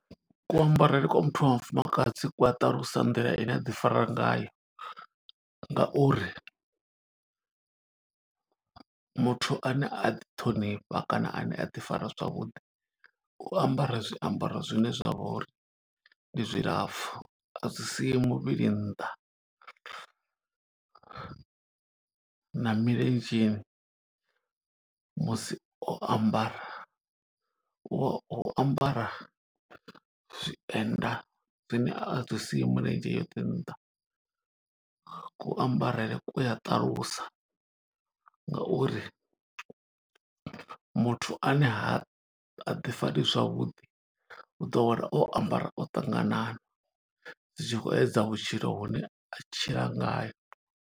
Ku ambarele kwa muthu wa mufumakadzi ku a ṱalusa nḓila ine aḓi fara ngayo. Nga uri muthu ane a ḓi ṱhonifha kana ane a ḓi fara zwavhuḓi, u ambara zwiambaro zwine zwa vha uri ndi zwilapfu, a zwi siyi muvhili nnḓa. Na milenzheni musi o ambara, u ambara zwienda zwine a zwi siyi mulenzhe yoṱhe nnḓa. Ku ambarele ku a ṱalusa nga uri muthu ane ha, ha ḓi fari zwavhuḓi u ḓo wana o ambara o ṱanganana. Zwi tshi khou edza vhutshilo vhune a tshila nga yo.